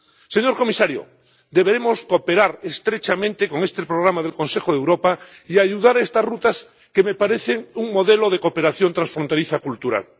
Señor comisario, debemos cooperar estrechamente con este programa del Consejo de Europa y ayudar a estas rutas, que me parecen un modelo de cooperación transfronteriza cultural.